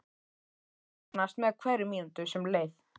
Spennan magnaðist með hverri mínútu sem leið.